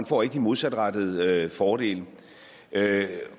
får de modsatrettede fordele